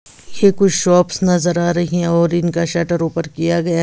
ये कुछ शॉप्स नज़र आ रही हैं और इनका शटर ऊपर किया गया--